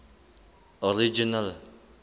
original